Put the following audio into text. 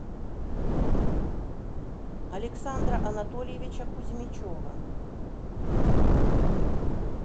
александра анатольевича кузьмичева